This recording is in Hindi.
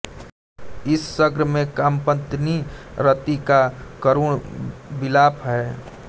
इस सर्ग में कामपत्नी रति का करुण विलाप है